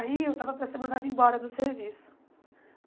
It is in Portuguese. Aí eu estava para ser mandada embora do serviço.